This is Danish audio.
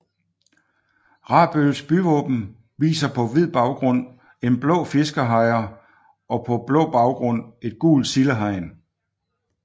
Rabøls byvåben viser på hvid baggrund en blå fiskehejre og på blå baggrund et gult sildehegn